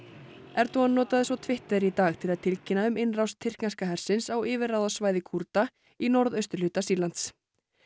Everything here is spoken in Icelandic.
Erdogan notaði svo Twitter í dag til að tilkynna um innrás tyrkneska hersins á yfirráðasvæði Kúrda í norðausturhluta Sýrlands